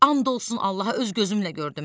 And olsun Allaha öz gözümlə gördüm.